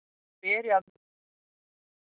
Þá beri að auka fiskeldi